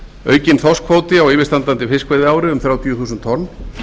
aukinn þorskkvóti á yfirstandandi fiskveiðiári um þrjátíu þúsund tonn